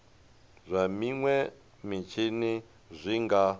zwa minwe mitshini zwi nga